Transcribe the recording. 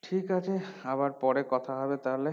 ঠিক আছে আবার পরে কথা হবে তাহলে